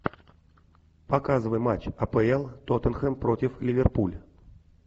показывай матч апл тоттенхэм против ливерпуль